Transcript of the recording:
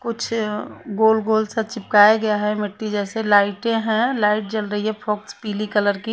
कुछ गोल गोल सा चिपकाया गया है मिट्टी जेसे लाइटे है लाइट जल रही है फुक्स पिली कलर की--